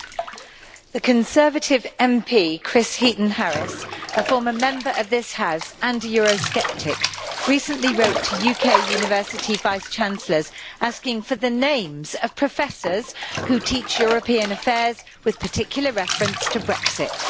Mr President, the Conservative MP Chris Heaton Harris, a former Member of this House and a Eurosceptic, recently wrote to UK university vice chancellors asking for the names of professors who teach European affairs, with particular reference to Brexit.